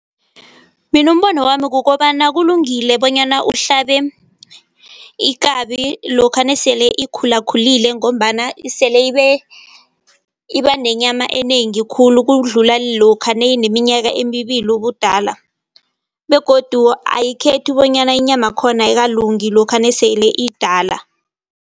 Mina umbono wami kukobana kulungile bonyana uhlabe ikabi lokha nesele ikhulakhulile ngombana sele ibanenyama enengi khulu ukudlula lokha nayineminyaka emibili ubudala, begodu ayikhethi bonyana inyama yakhona ayikalungi lokha nasele iyidala.